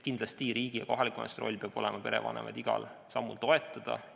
Kindlasti peab riigi ja kohaliku omavalitsuse roll olema perevanemate igal sammul toetamine.